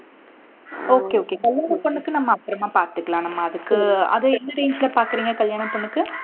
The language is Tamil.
okay okay கல்யாண பொண்ணுக்கும் நம்ம அப்புறமா பார்த்துக்கலாம். நம்ம அதுக்கு அதை எந்த range பாக்குறீங்க கல்யாண பொண்ணுக்கு